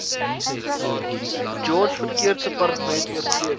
george verkeersdepartement oortredings